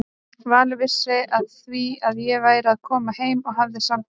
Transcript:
Valur vissi af því að ég væri að koma heim og hafði samband.